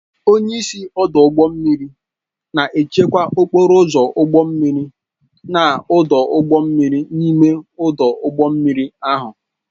Onyeisi Ọdụ ụgbọ mmiri na-achịkwa okporo ụzọ ụgbọ mmiri na ọdụ ụgbọ mmiri n'ime ọdụ ụgbọ mmiri ahụ